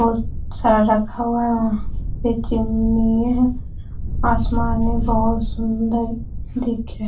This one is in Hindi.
बहुत सारा रखा हुआ है वहां पे चिमनी है आसमान में बहुत सुंदर दिख रहा है।